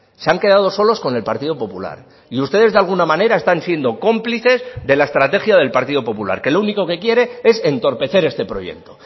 se han quedado solos con el partido popular y ustedes de alguna manera están siendo cómplices de la estrategia del partido popular que lo único que quiere es entorpecer este proyecto